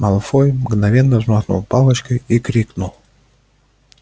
малфой мгновенно взмахнул палочкой и крикнул